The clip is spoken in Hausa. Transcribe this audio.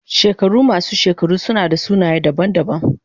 Shekaru masu shekaru suna da sunaye daban-daban.